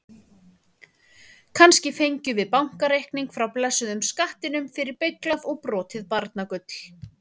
Kannski fengjum við bakreikning frá blessuðum skattinum fyrir beyglað og brotið barnagull?